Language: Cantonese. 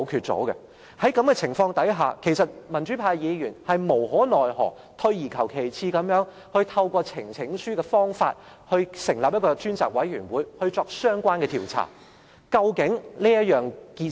在這種情況下，民主派議員無可奈何，退而求其次地透過呈請書的方法，成立一個專責委員會進行相關調查。